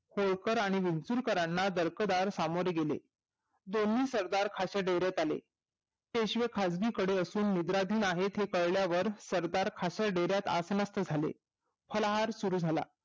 होळकर आणि विचूळकरांना दडपदार सामोरे गेले दोन्ही सरदार खासे दोरत आले पेशवे खिसगी कडून असून मुंद्रा दिन आहे हे कळल्यावर सरदार डेऱ्यात असनिस्त झाले हल्ह्ल सुरु झाले